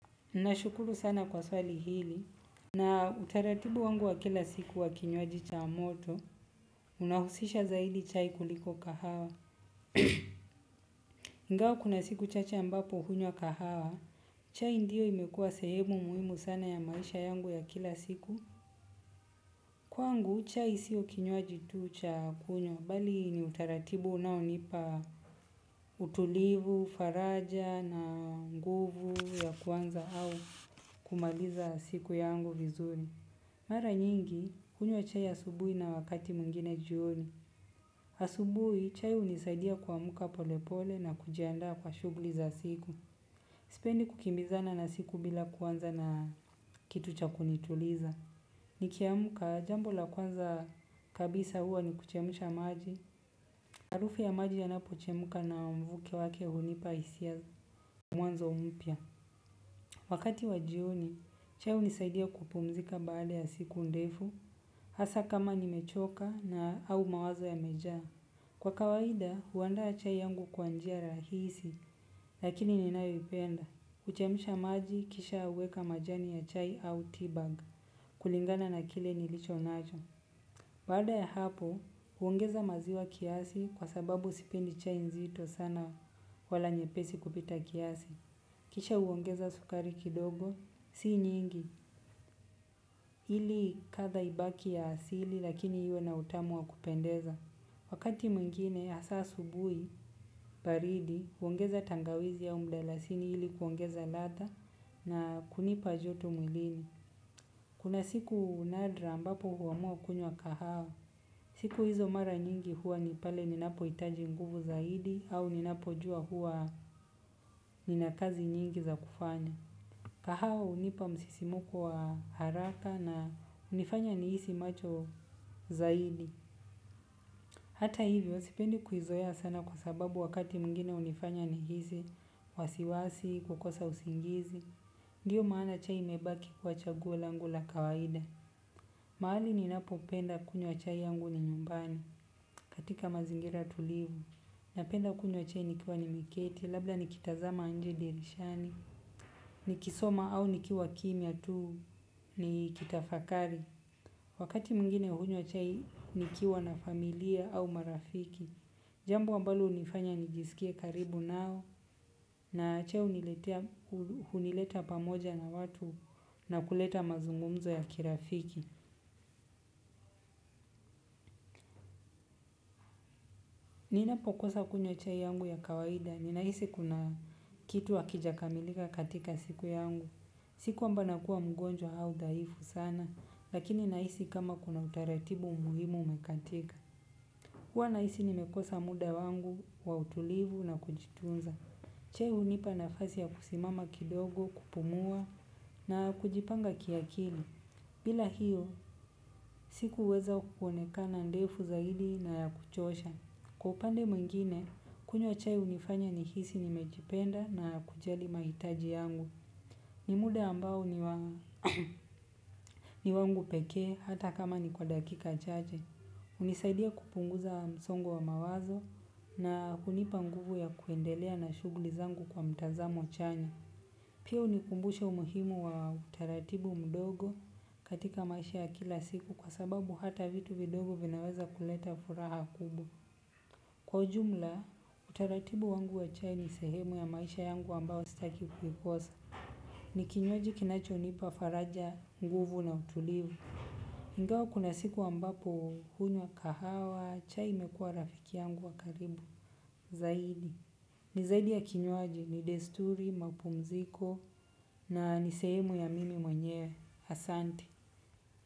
Nashukuru sana kwa swali hili. Na utaratibu wangu wa kila siku wa kinywaji cha moto, unahusisha zaidi chai kuliko kahawa. Ingawa kuna siku chache ambapo hunywa kahawa, chai ndio imekuwa sehemu muhimu sana ya maisha yangu ya kila siku. Kwangu, chai siyo kinywaji tu cha kunywa, bali ni utaratibu unaonipa utulivu, faraja na nguvu ya kuanza au kumaliza siku yangu vizuri. Mara nyingi hunywa chai asubuhi na wakati mwingine jioni. Asubuhi, chai hunisaidia kuamka polepole na kujiandaa kwa shughuli za siku. Sipendi kukimbizana na siku bila kuanza na kitu cha kunituliza. Nikiamka, jambo la kwanza kabisa huwa ni kuchemsha maji. Harufu ya maji yanapochemka na mvuke wake hunipa hisia. Mwanzo mpya. Wakati wa jioni, chai hunisaidia kupumzika baada ya siku ndefu. Hasa kama nimechoka na au mawazo yamejaa. Kwa kawaida, huandaa chai yangu kwa njia rahisi, lakini ninayoipenda. Kuchemsha maji, kisha huweka majani ya chai au teabag. Kulingana na kile nilicho nacho. Baada ya hapo, huongeza maziwa kiasi kwa sababu sipendi chai nzito sana wala nyepesi kupita kiasi. Kisha huongeza sukari kidogo, si nyingi. Ili katha ibaki ya asili lakini iwe na utamu wa kupendeza. Wakati mwingine, hasa asubuhi, baridi, huongeza tangawizi au mdalasini ili kuongeza ladha na kunipa joto mwilini. Kuna siku nadra ambapo huamua kunywa kahawa. Siku hizo mara nyingi huwa ni pale ninapohitaji nguvu zaidi au ninapojuwa huwa nina kazi nyingi za kufanya. Kahawa hunipa msisimko wa haraka na hunifanya nihisi macho zaidi. Hata hivi huwa sipendi kuizoeya sana kwa sababu wakati mwingine hunifanya nihisi wasiwasi, kukosa usingizi. Ndiyo maana chai imebaki kuwa chaguo langu a kawaida. Mahali ninapopenda kunywa chai yangu ni nyumbani. Katika mazingira tulivu napenda kunywa chai nikiwa nimeketi labda nikitazama nje dirishani nikisoma au nikiwa kimya tu ni kitafakari. Wakati mwingine hunywa chai nikiwa na familia au marafiki. Jambo ambalo hunifanya nijiskie karibu nao. Na chai huniletea hunileta pamoja na watu na kuleta mazungumzo ya kirafiki. Ninapokosa kunywa chai yangu ya kawaida ninahisi kuna kitu hakijakamilika katika siku yangu. Siku kwamba nakuwa mgonjwa au dhaifu sana. Lakini nahisi kama kuna utaratibu muhimu umekatika. Huwa nahisi nimekosa muda wangu wa utulivu na kujitunza. Chai hunipa nafasi ya kusimama kidogo kupumua na kujipanga kiakili. Bila hiyo, siku huweza kuoneka ndefu zaidi na ya kuchosha. Kwa upande mwingine, kunywa chai hunifanya nihisi nimejipenda na kujali mahitaji yangu. Ni muda ambao ni wangu pekee hata kama ni kwa dakika chache hunisaidia kupunguza msongo wa mawazo na hunipa nguvu ya kuendelea na shughuli zangu kwa mtazamo chanya. Pia hunikumbusha umuhimu wa utaratibu mdogo katika maisha ya kila siku kwa sababu hata vitu vidogo vinaweza kuleta furaha kubwa, kwa ujumla, utaratibu wangu wa chai ni sehemu ya maisha yangu ambao sitaki kuikosa. Ni kinywaji kinachonipa faraja nguvu na utulivu ingawa kuna siku ambapo hunywa kahawa, chai mekua rafiki yangu wa karibu, zaidi. Ni zaidi ya kinywaji, ni desturi, mapumziko, na ni sehemu ya mimi mwenyewe, ahsate.